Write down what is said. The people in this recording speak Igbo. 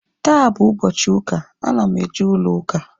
Taa bụ ụbọchị ụka, ana m eje ụlọ ụka